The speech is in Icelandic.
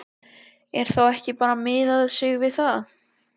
Er þá ekki bara að miða sig við það?